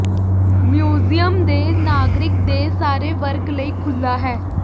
museum ਦੇ ਨਾਗਰਿਕ ਦੇ ਸਾਰੇ ਵਰਗ ਲਈ ਖੁੱਲ੍ਹਾ ਹੈ